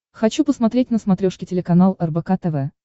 хочу посмотреть на смотрешке телеканал рбк тв